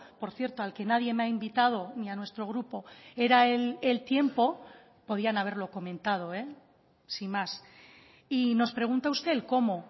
por cierto al que nadie me ha invitado ni a nuestro grupo era el tiempo podían haberlo comentado sin más y nos pregunta usted el cómo